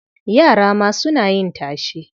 Yara ma suna yin tashe.